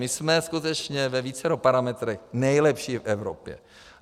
My jsme skutečně ve vícero parametrech nejlepší v Evropě.